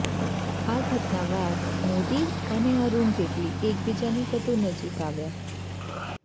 આ ઘટના બાદ મોદી અને અરૂણ જેટલી એકબીજાની વધુ નજીક આવ્યા